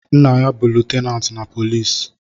Nna ya bu lutenanti na poliisi